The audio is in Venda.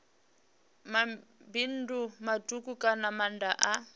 mabindu matuku kana maanda a